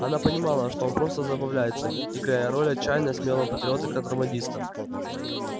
она понимала что он просто забавляется играя роль отчаянно смелого патриота-контрабандиста